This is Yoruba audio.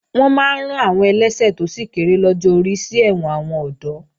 Wọ́n máa rán àwọn ẹlẹ́ṣẹ̀ tó sì kéré lọ́jọ́ orí sí ẹ̀wọ̀n àwọn ọ̀dọ́